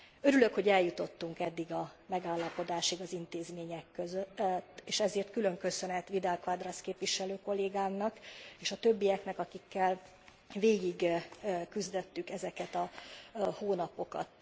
Örülök, hogy eljutottunk eddig a megállapodásig az intézmények között, és ezért külön köszönet Vidal Quadras képviselő kollégámnak és a többieknek, akikkel végigküzdöttük ezeket a hónapokat.